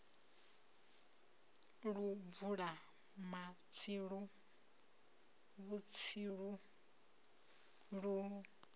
lu bvula matsilu vhutsilu lu